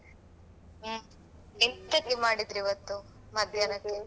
ಹ್ಮ್ ಎಂತಕ್ಕೆ ಮಾಡಿದ್ರು ಇವತ್ತು ಮಧ್ಯಾಹ್ನಕ್ಕೆ?